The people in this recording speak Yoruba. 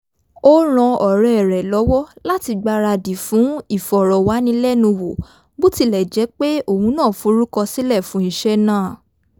ó ran ọ̀rẹ́ rẹ̀ lọ́wọ́ láti gbaradì fún ìfọ̀rọ̀wánilẹ́nuwò bó tilẹ̀ jẹ́ pé òun náà forúkọsílẹ̀ fún iṣẹ́ náà